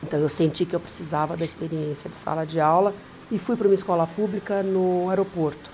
Então eu senti que eu precisava da experiência de sala de aula e fui para uma escola pública no aeroporto.